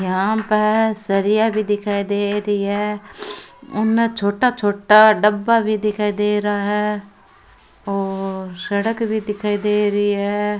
यहाँ पर सरिया भी दिखाई दे री है उनने छोटा छोटा डब्बा भी दिखाई दे रा है और सड़क भी दिखाई दे री है।